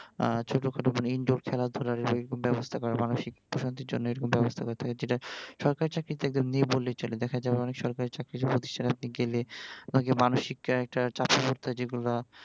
আহ ছোট খাটো কোন Indore খেলাধুলা এরকম ব্যাবস্থা, মানসিক প্রশান্তির জন্য এরকম ব্যবস্থা করা থাকে যেইটা সরকারি চাকরিতে একদম নেই বললেই চলে দেখা যায় আবার অনেক সরকারি চাকরির প্রতিষ্ঠানে আপনি গেলে আপনাকে মানসিক একটা চাপে পড়তে হয় যেগুলা